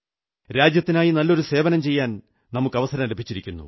രാജ്യത്തിനായി നല്ലൊരു സേവനം ചെയ്യാൻ നമുക്കവസരം ലഭിച്ചിരിക്കുന്നു